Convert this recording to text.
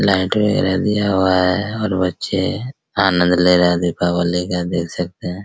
Light वगैरा दिया हुआ है और बच्चे आनद ले रहे है दीपावली का देख सकते है।